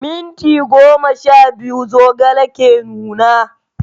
Minti goma sha biyu zogale ke nuna.